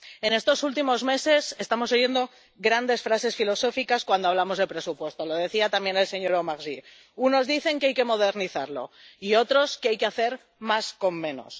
En estos últimos meses estamos oyendo grandes frases filosóficas cuando hablamos de presupuesto —lo decía también el señor Omarjee— unos dicen que hay que modernizarlo y, otros, que hay que hacer más con menos.